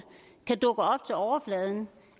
kan dukke op til overfladen